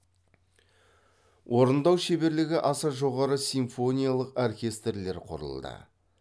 орындау шеберлігі аса жоғары симфониялық оркестрлер құрылды